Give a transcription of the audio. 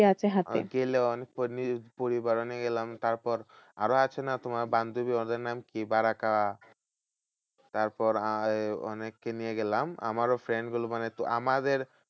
গেলাম নিজের পরিবারও নিয়ে গেলাম তারপর আরো আছে না তোমার বান্ধবী ওদের নাম কি বারাকা? তারপর আহ ওই অনেককে নিয়ে গেলাম আমারও friend গুলো মানে আমাদের